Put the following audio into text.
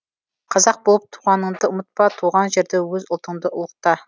қазақ болып туғаныңды ұмытпа туған жерді өз ұлтыңды ұлықта